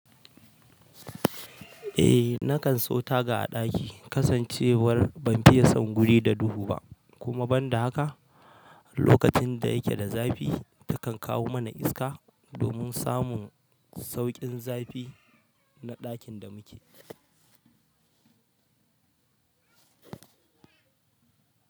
Eh nakan so taga a ɗaki, kasancewar ban fiye son guri da duhu ba kuma banda haka lokacin da yake da zafi ta kan kawo mana iska domin samun sauƙin zafi na ɗakin da muke.